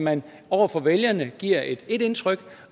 man over for vælgerne giver ét indtryk